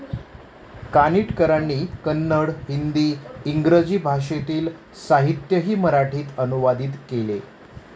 कानिटकरांनी कन्नड, हिंदी, इंग्रजी भाषेतील साहित्यही मराठीत अनुवादीत केले.